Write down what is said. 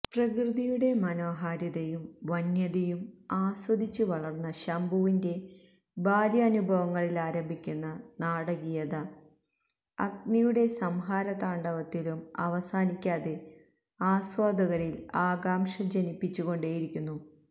പ്രകൃതിയുടെ മനോഹാരിതയും വന്യതയും ആസ്വദിച്ചുവളര്ന്ന ശംഭുവിന്റെ ബാല്യാനുഭവങ്ങളിലാരംഭിക്കുന്ന നാടകീയത അഗ്നിയുടെ സംഹാരതാണ്ഡവത്തിലും അവസാനിക്കാതെ ആസ്വാദകരില് ആകംക്ഷ ജനിപ്പിച്ചുകൊണ്ടേയിരിക്കുന്നു